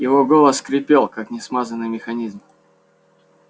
его голос скрипел как несмазанный механизм